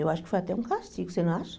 Eu acho que foi até um castigo, você não acha?